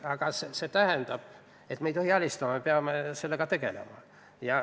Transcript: Aga me ei tohi alistuda, me peame sellega tegelema.